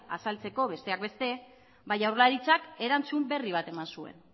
azaltzeko besteak beste jaurlaritzak erantzun berri bat eman zuen